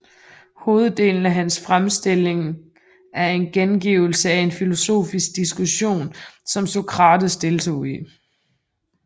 Hoveddelen af hans fremstilling er en gengivelse af en filosofisk diskussion som Sokrates deltog i